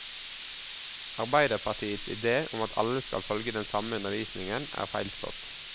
Arbeiderpartiets idé om at alle skal følge den samme undervisningen, er feilslått.